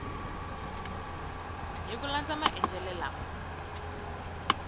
hi ku landza maendlele lama